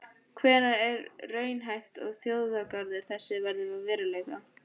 Hvenær er raunhæft að þjóðgarður þessi verði að veruleika?